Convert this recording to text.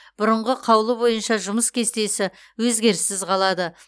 бұрынғы қаулы бойынша жұмыс кестесі өзгеріссіз қалады